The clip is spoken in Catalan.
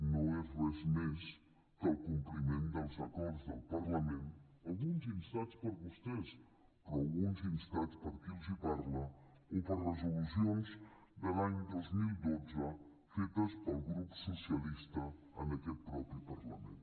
no és res més que el compliment dels acords del parlament alguns instats per vostès però alguns instats per qui els parla o per resolucions de l’any dos mil dotze fetes pel grup socialista en aquest mateix parlament